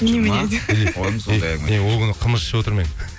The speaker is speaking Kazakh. ол күні қымыз ішіп отыр ма едің